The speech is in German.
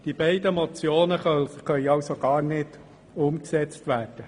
Die beiden Motionen können somit gar nicht umgesetzt werden.